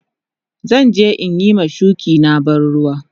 Zan je in yi ma shuki na ban ruwa.